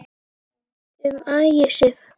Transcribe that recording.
Um Ægisif